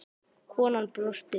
Konan brosti.